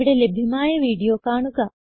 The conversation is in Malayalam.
ഇവിടെ ലഭ്യമായ വീഡിയോ കാണുക